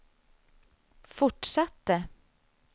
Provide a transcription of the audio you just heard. fortsatte